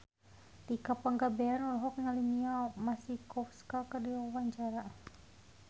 Tika Pangabean olohok ningali Mia Masikowska keur diwawancara